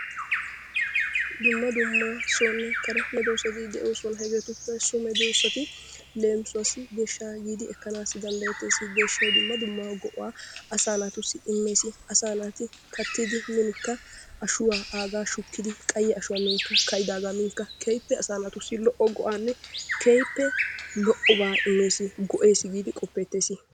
Dumma dumma sonne kare meedosati de"oosona. Hegetuppe issi meedosati leemisuwaasi deeshshaa giidi ekkanasi danddayeetees. Deeshshsay dumma dumma go"aa asaa naatussi immees. Asaa naati kaattidi minkka ashshuwaa aagaa shuukkidi qayye ashshuwaa minkka ka'idaagaa minkka keehippe asaa naatussi go"aanne keehippe lo"obaa immees. Go"ees giidi qoppeetees.